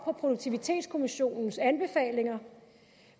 på produktivitetskommissionens anbefalinger